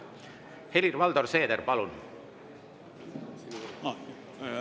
Helir-Valdor Seeder, palun!